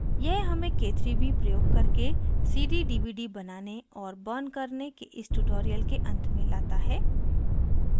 यह हमें k3b प्रयोग करके cd/dvd बनाने और burning करने के इस tutorial के अंत में लाता है